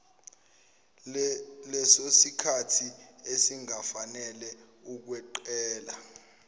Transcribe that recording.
lesosikhathi esingafanele ukweqela